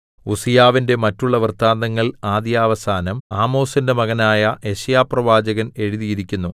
ഉസ്സീയാവിന്റെ മറ്റുള്ള വൃത്താന്തങ്ങൾ ആദ്യവസാനം ആമോസിന്റെ മകനായ യെശയ്യാപ്രവാചകൻ എഴുതിയിരിക്കുന്നു